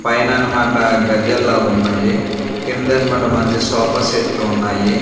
పైన అనమాట గజ్జలాగున్నాయి కింద అనమాట మంచి సోఫా సెట్లు ఉన్నాయి.